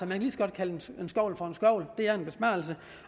kan lige så godt kalde en skovl for en skovl det er en besparelse